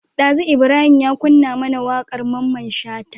Dazu Ibrahim ya kunna mAna waƙar mamman shata